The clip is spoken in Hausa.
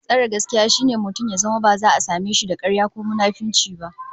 Tsare gaskiya shine mutum ya zama ba za a same da karya ko munafunci ba